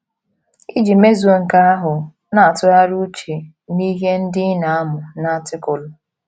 Iji mezuo nke ahụ, na - atụgharị uche n’ihe ndị ị na - amụ n' Artịkụlụ.